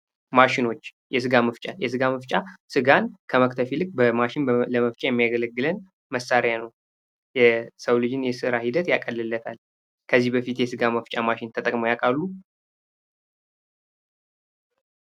ማሽኖች የስጋ መፍጫ ስጋን ከመክተት ይልቅ በማሽን ለመፍጫ የሚያገለግለን መሣሪያ ነው። የሰውን ልጅ የስራ ሂደት ያቀልለታል። ከዚህ በፊት የሥጋ መፍጫ ማሽን ተጠቅመው ያውቃሉ?